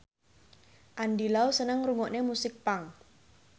Andy Lau seneng ngrungokne musik punk